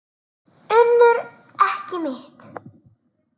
UNNUR: Ekki mitt.